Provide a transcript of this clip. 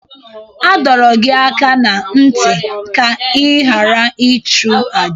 A dọrọ gị aka ná ntị ka ị ghara ịchụ àjà!